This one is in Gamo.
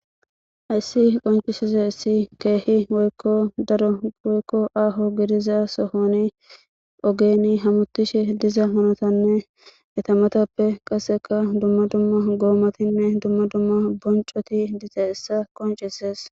how ayssi qoncishizeayssi issi keehi woykko daro woykko aaho gidiza sohoni ogeeni hamutishe diza hanotanne etamatappe qaseka dumma dumma goomatinne dumma dumma boncoti dizayssa qoncises